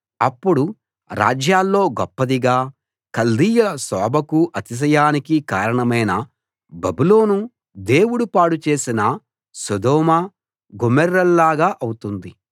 అప్పుడు రాజ్యాల్లో గొప్పదిగా కల్దీయుల శోభకూ అతిశయానికీ కారణమైన బబులోను దేవుడు పాడుచేసిన సొదొమ గొమొర్రాల్లాగా అవుతుంది